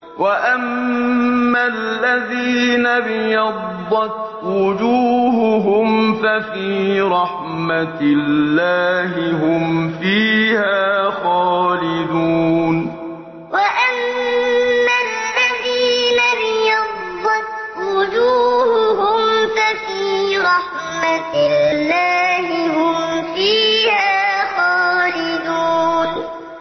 وَأَمَّا الَّذِينَ ابْيَضَّتْ وُجُوهُهُمْ فَفِي رَحْمَةِ اللَّهِ هُمْ فِيهَا خَالِدُونَ وَأَمَّا الَّذِينَ ابْيَضَّتْ وُجُوهُهُمْ فَفِي رَحْمَةِ اللَّهِ هُمْ فِيهَا خَالِدُونَ